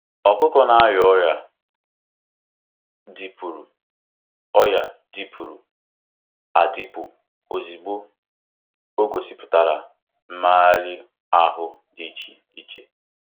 Ọkụkọ na-arịa ọrịa dịpụrụ ọrịa dịpụrụ adịpụ ozugbo o gosipụtara mmegharị ahụ dị iche iche.